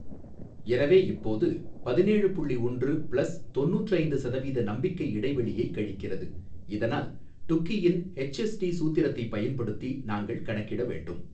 எனவே இப்போது பதினேழு புள்ளி ஒன்று பிளஸ் தொண்ணூற்றூற்று ஐந்து சதவீத நம்பிக்கை இடைவெளியை கழிக்கிறது இதனால் டுக்கியின் எச் எஸ் டி சூத்திரத்தைப் பயன்படுத்தி நாங்கள் கணக்கிட வேண்டும்.